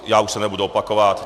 Já už se nebudu opakovat.